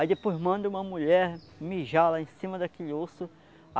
Aí depois manda uma mulher mijar lá em cima daquele osso.